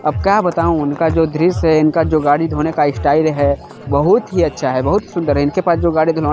अब का बताऊ इनका जो दृश्य है इनका जो गाड़ी धोने का स्टाइल है बहुत ही अच्छा है बहुत सुंदर है इनके पास जो गाड़ी धुलवाने --